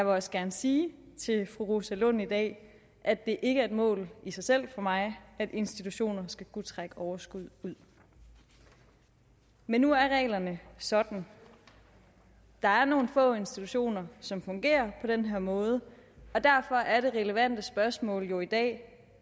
også gerne sige til fru rosa lund i dag at det ikke er et mål i sig selv for mig at institutioner skal kunne trække overskud ud men nu er reglerne sådan der er nogle få institutioner som fungerer på den her måde og derfor er det relevante spørgsmål jo i dag